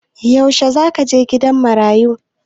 Yaushe za ka je gidan marayu?